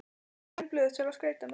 græn blöð til að skreyta með